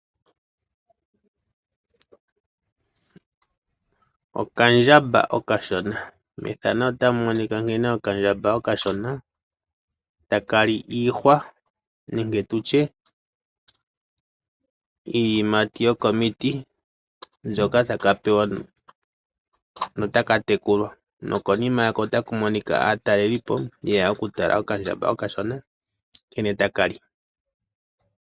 Okandjamba okashona, okandjamba otaka li iihwa no otaka monika nawa noonkondo .Konima yako otaku monika aatalelipo ya tala okandjamba nkene taka tekulwa